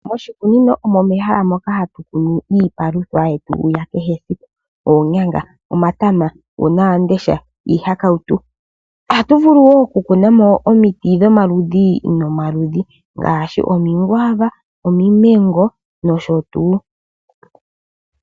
Moshikunino omo mehala moka hatu kunu iipalutha yetu ya kehe esiku. Iipalwitha mbika ongaashi oonyanga, omatama, uunawamundesha niihakawutu. Ohatu vulu wo okukuna mo omiti dhomaludhi nomaludhi ngaashi omikwaava, omimengo nosho tuu.